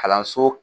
Kalanso